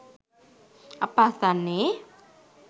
අප අසන්නේ